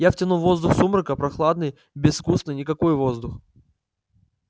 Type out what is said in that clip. я втянул воздух сумрака прохладный безвкусный никакой воздух